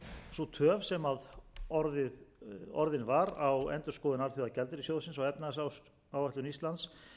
sú töf sem orðin var á endurskoðun alþjóðagjaldeyrissjóðsins á efnahagsáætlun íslands